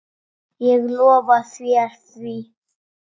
Ég lofa þér því.